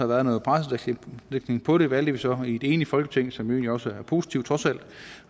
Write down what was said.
været noget pressedækning på det valgte vi så i et enigt folketing som jo også er positivt